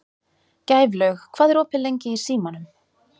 Gæflaug, hvað er opið lengi í Símanum?